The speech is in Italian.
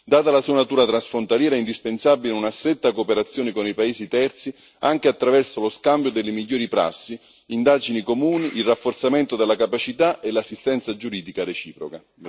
Data la sua natura transfrontaliera è indispensabile una stretta cooperazione con i paesi terzi, anche attraverso lo scambio delle migliori prassi, indagini comuni, il rafforzamento della capacità e l'assistenza giuridica reciproca.